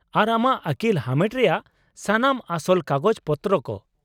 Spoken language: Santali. ᱟᱨ ᱟᱢᱟᱜ ᱟᱹᱠᱤᱞ ᱦᱟᱢᱮᱴ ᱨᱮᱭᱟᱜ ᱥᱟᱱᱟᱢ ᱟᱥᱚᱞ ᱠᱟᱜᱚᱡᱽ ᱯᱚᱛᱨᱚ ᱠᱚ ᱾